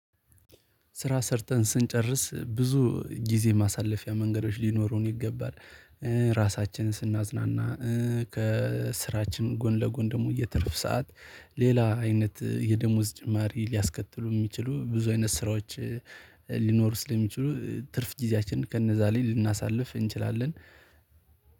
ስራ ሰርተን ስንጨርስ ብዙ ጊዜ ማሳለፊያ መንገዶች ሊኖሩን ይገባል። ራሳችንን ስናዝናና ከስራችን ጎን ለጎን ደግሞ የትርፍ ሰዓት ሌላ አይነት የደሞዝ ጭማሪ ሊያስከትሉ የሚችሉ ብዙ አይነት ስራዎች። ሊኖሩ ስለሚችሉ ትርፍ ጊዜያችንን ከነዛ ላይ ልናሳልፍ እንችላለን።